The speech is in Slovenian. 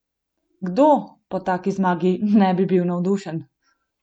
Kdo po taki zmagi ne bi bil navdušen?